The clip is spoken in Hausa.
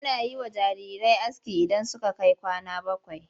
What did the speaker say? Ana yi wa jarirai aski idan suka kai kwana bakwai.